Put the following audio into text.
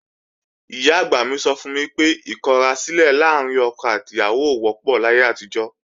Ìyá-àgbà mi sọ fún mi pé ìkọrasílẹ̀ láàrín ọkọ àti ìyàwó ò wọ́pọ̀ láyé àtijọ́